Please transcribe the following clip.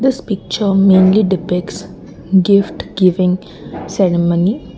this picture mainly defects gift given ceremony.